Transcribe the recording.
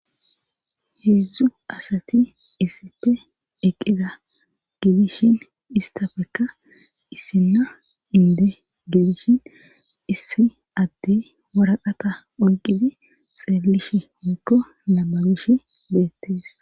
heedzdzu asati issippe eqqida gidishin istafekka issinna indo gidishin issi addey waraqata oyqidi xeellish mikko nabagish beettees